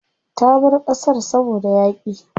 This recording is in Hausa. Ta bar ƙasar saboda yaƙi.